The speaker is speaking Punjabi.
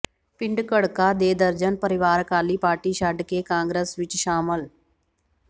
ਪਿੰਡ ਘੜਕਾ ਦੇ ਦਰਜਨ ਪਰਿਵਾਰ ਅਕਾਲੀ ਪਾਰਟੀ ਛੱਡ ਕੇ ਕਾਂਗਰਸ ਵਿਚ ਸ਼ਾਮਿਲ